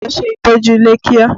Ló ṣe ìtọ́jú ilé kíá!